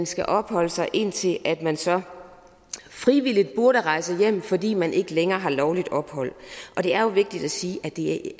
skal opholde sig indtil man så frivilligt burde rejse hjem fordi man ikke længere har lovligt ophold det er jo vigtigt at sige at de